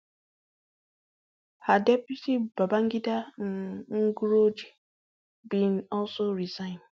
her deputy babangida um nguroje bin also resign